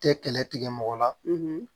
Tɛ kɛlɛ tigɛ mɔgɔ la